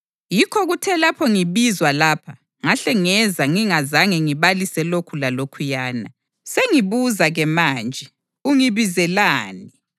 Yikho kuthe lapho ngibizwa lapha, ngahle ngeza ngingazange ngibalise lokhu lalokhuyana. Sengibuza-ke manje, ungibizelani?”